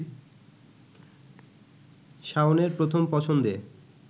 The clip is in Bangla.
শাওনের প্রথম পছন্দে